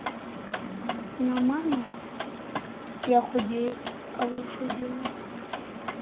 нормально я худею а вы что делаете там